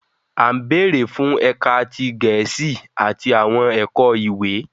"A nbere fún ẹka ti Gẹẹsi ati awọn ẹkọ ìwé